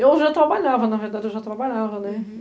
Eu já trabalhava, na verdade, eu já trabalhava, né? Uhum